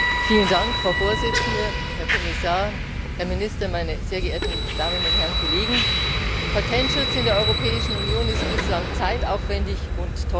Frau Präsidentin, Herr Kommissar, Herr Minister, meine sehr geehrten Damen und Herren Kollegen! Patentschutz in der Europäischen Union ist bislang zeitaufwendig und teuer.